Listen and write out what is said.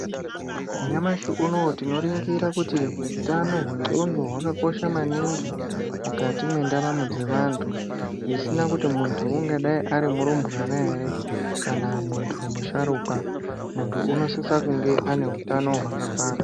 Nyamashi unoo tinoringira kuti utano hwendxondo hwakakosha maningi mukati mwendaramo dzevantu. Zvisina kuti muntu ungadayi ari murumbwana here kana muntu musharukwa. Muntu unosisa kunge ane hutano hwakakwana.